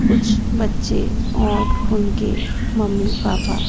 कुछ बच्चे और उनके मम्मी पापा--